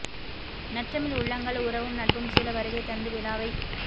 நற்றமிழ் உள்ளங்கள் உறவும் நட்பும் சூழ வருகை தந்து விழாவைச்